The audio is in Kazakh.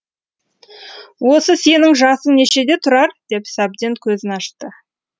осы сенің жасың нешеде тұрар деп сәбден көзін ашты